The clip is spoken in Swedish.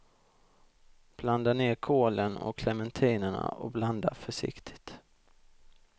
Blanda ner kålen och clementinerna och blanda försiktigt.